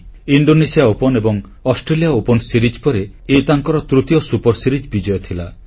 Indonesia Open ଏବଂ Australia Open series ପରେ ଏହା ତାଙ୍କର ତୃତୀୟ ସୁପର ସିରିଜ୍ ବିଜୟ ଥିଲା